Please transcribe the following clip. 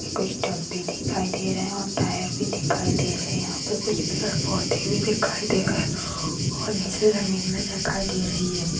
कूछ टब भी दिखाई दे रहा है और टायर भी दिखाई दे रहे यहा पे कुछ पेड़ पौधे भी दिखाई दे है और नीचे जमीन भी दिखाई दे रही है।